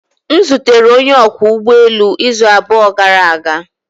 M zutere onye ọkwọ ụgbọelu izu abụọ gara aga